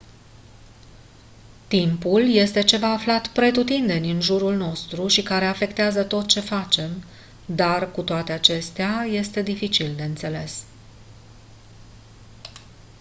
timpul este ceva aflat pretutindeni în jurul nostru și care afectează tot ce facem dar cu toate acestea este dificil de înțeles